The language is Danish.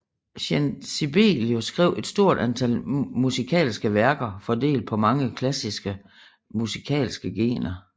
Jean Sibelius skrev et stort antal musikalske værker fordelt på mange klassiske musikalske genrer